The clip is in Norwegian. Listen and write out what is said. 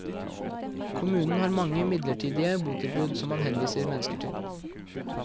Kommunen har mange midlertidige botilbud, som man henviser mennesker til.